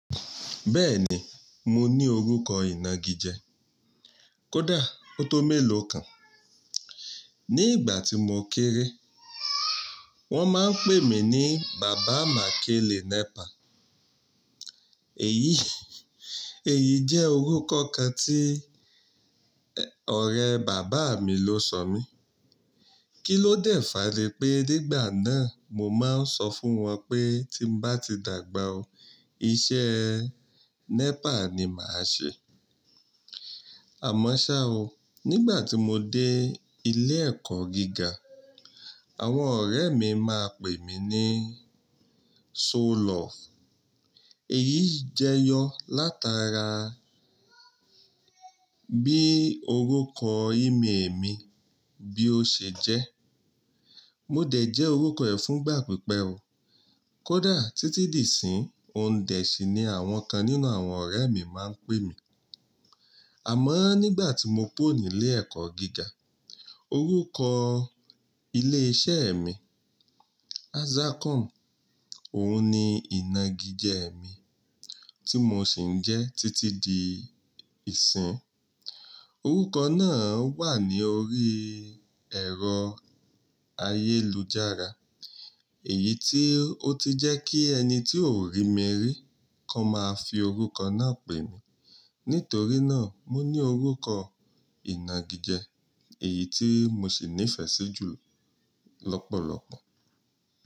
Bẹ́ẹ̀ni, mo ní orúkọ ìnagijẹ. Kódà, ó tó mélòó kan. Ní ìgbà tí mo kéré, wọ́n máa ń pè mí ní Bàbá Makẹ́le Nẹ́pà. Èyí, èyí jẹ́ orúkọ kan tí ẹ̀, ọ̀rẹ́ bàbá mi ló sọ mí. Kí ló dẹ̀ fá ni pé nígbà náà mo máa ń sọ fún wọn pé tí bá ti dàgbà o, iṣẹ́ẹ́ Nẹ́pà ni màá ṣe. Àmọ́ ṣa o, nígbà tí mo dé ilé ẹ̀kọ́ gíga, àwọn ọ̀rẹ́ mi máa pè mí ní So lọọ̀fù. Èyí jẹ yọ látara bí orúkọ ìmi èmi bí ó ṣe jẹ́. Mo dẹ̀ jẹ́ orúkọ ẹ̀ fún ìgbà pípẹ́ o. Kódà títí dìsinyi, Ondẹ̀sì ni àwọn kan nínú àwọn ọ̀rẹ́ mi máa ń pè mí. Àmọ́ nígbà tí mo kúrò ní ilé ẹ̀kọ́ gíga, orúkọ ilé iṣẹ́ mi, Azacom, òun ni ìnagijẹ mi tí mo sì ń jẹ títí dì isinyi Orúkọ náà wà ní orí ẹ̀rọ ayélujára, èyí tí ó ti jẹ́ kí ẹni tí ò rí mi rí kó máa fi orúkọ náà pè mí. Nítorí náà, mo ní orúkọ ìnagijẹ èyí tí mo sì nífẹ̀ẹ́ sí jù lọ́pọ̀lọpọ̀.